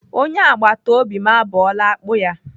Onye agbatobi m abọọla akpụ ya.